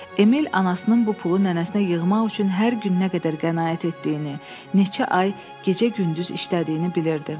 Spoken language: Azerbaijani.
Emil anasının bu pulu nənəsinə yığmaq üçün hər gün nə qədər qənaət etdiyini, neçə ay gecə-gündüz işlədiyini bilirdi.